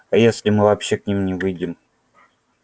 а если мы вообще к ним не выйдем